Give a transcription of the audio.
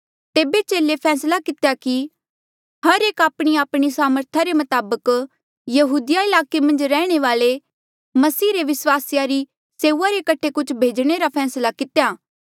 तेबे चेले फैसला कितेया कि हर एक आपणीआपणी सामर्थ रे मताबक यहूदिया ईलाके मन्झ रैहणे वाले मसीही रे विस्वासियो री सेऊआ रे कठे कुछ भेजणे रा फैसला कितेया